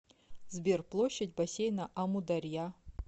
сбер площадь бассейна амударья